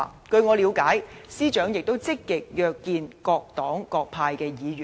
據我了解，司長亦積極約見各黨各派的議員。